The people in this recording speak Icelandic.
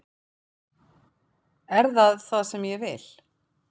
Er það það sem ég vil?